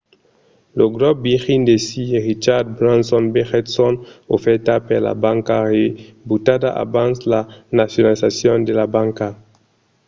lo grop virgin de sir richard branson vegèt son ofèrta per la banca rebutada abans la nacionalizacion de la banca